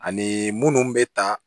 Ani munnu bɛ ta